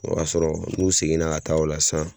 O y'a sɔrɔ n'u seginna ka taa o la sisan